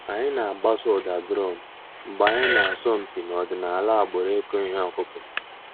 Ànyị̀ nà-àgbàsò ǔ́dà drum mgbè ànyị̀ nà-àsọ̀ mpị̀ n'ọ̀dìnàlà àgbùrù ị̀kụ̀ íhè ǒkụ̀kụ̀.